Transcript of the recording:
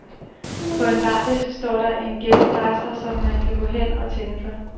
På en bardisk står der en ghettoblaster, som man kan gå hen at tænde for.